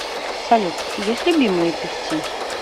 салют есть любимые певцы